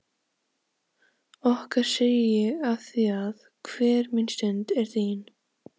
Okkar segi ég afþvíað hver mín stund er þín.